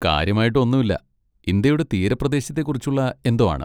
കാര്യമായിട്ട് ഒന്നൂല്ല, ഇന്ത്യയുടെ തീരപ്രദേശത്തെക്കുറിച്ചുള്ള എന്തോ ആണ്.